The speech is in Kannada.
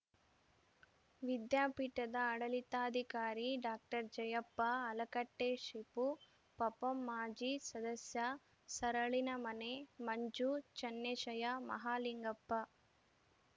ವಿದ್ಯಾಪೀಠದ ಆಡಳಿತಾಧಿಕಾರಿ ಡಾಕ್ಟರ್ ಜಯಪ್ಪ ಅಳಕಟ್ಟೆಶಿಪು ಪಪಂ ಮಾಜಿ ಸದಸ್ಯ ಸರಳಿನಮನೆ ಮಂಜು ಚನ್ನೇಶಯ್ಯ ಮಹಾಲಿಂಗಪ್ಪ